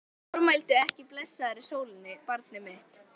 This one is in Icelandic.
Formæltu ekki blessaðri sólinni, barnið mitt.